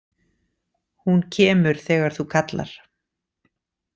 Hún kemur þegar þú kallar.